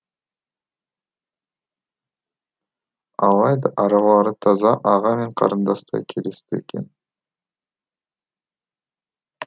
алайда аралары таза аға мен қарындастай келісті екен